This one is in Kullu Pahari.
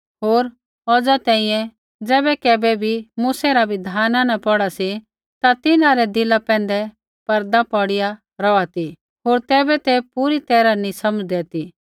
होर औज़ा तैंईंयैं ज़ैबै कैबै भी मूसै रा बिधाना न पौढ़ा सी ता तिन्हां रै दिला पैंधै पर्दा पौड़िया रौहा ती होर तैबै तै पूरी तैरहा नी समझ़दै ती